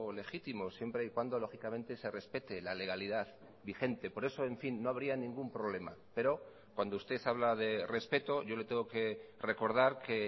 legítimos siempre y cuando lógicamente se respete la legalidad vigente por eso en fin no habría ningún problema pero cuando usted habla de respeto yo le tengo que recordar que